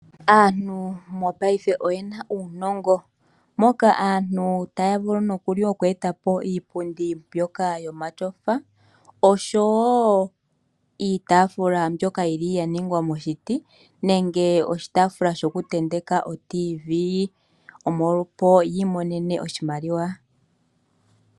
Aantu mopaife oye na uunongo. Moka aantu taya vulu nokuli oku eta po iipundi mbyoka yomatyofa oshowo iitaafula mbyoka ya ningwa moshiti nenge oshitaafula shokutenteka otiivii, opo yi imonene oshimaliwa.